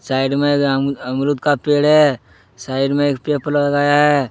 Side में एक अम अमरूद का पेड़ है साइड में एक पेप लगाया है।